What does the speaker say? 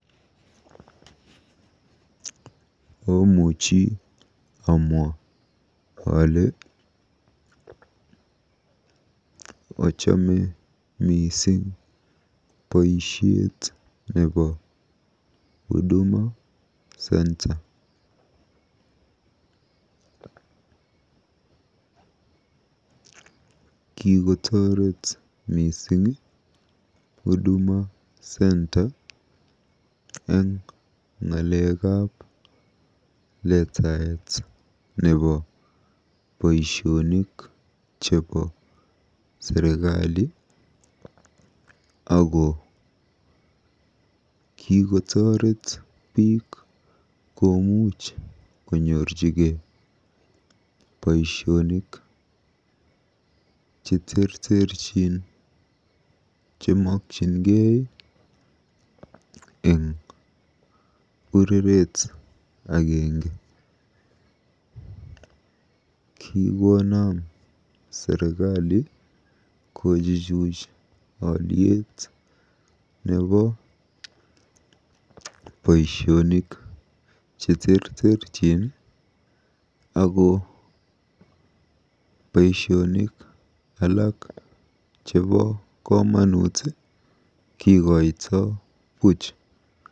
Amuchi amwa ale achame mising boisiet nebo Huduma Centre. Kikotoret mising Huduma Centre eng letaet nebo boisionik chebo serikali ako kikotooret biik komuchh konyorchigei boisionik cheterterchin chemokyingei eng ureret agenge. Kikonam serikali kochuchuch oliet nebo boisionik cheterterchin ako boisionik alak chepo komonut kikoitoi buuch.